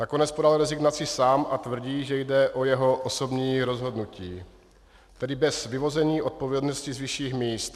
Nakonec podal rezignaci sám a tvrdí, že jde o jeho osobní rozhodnutí, tedy bez vyvození odpovědnosti z vyšších míst.